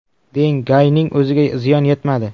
Deng Gayning o‘ziga ziyon yetmadi.